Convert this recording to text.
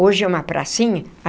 Hoje é uma pracinha.